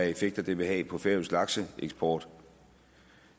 effekter det vil have på færøsk lakseeksport